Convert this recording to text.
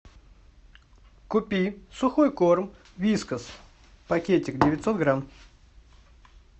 купи сухой корм вискас пакетик девятьсот грамм